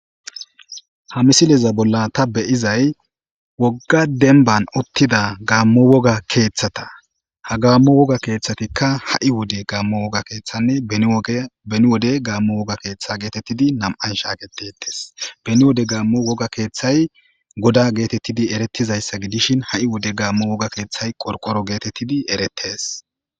Ha misileza bolla ta beyizay wogga denban uttida gaammo woga keeththata ha gaammo woga keeththatikka ha'i wode gaammo woga keeththanne beni wode gaammo woga keeththa geetettidi nam7an shaagetetes beni wode gaammo woga keeththay goda geetettidi eretizayssa gidishin ha7i wode gaammo woga keeththay qorqoro geetettidi erettes.